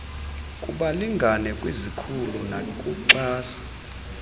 kubalingane kwizikhulu nakuxhasi